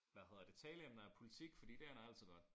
Hvad hedder det taleemner er politik fordi det ender altid godt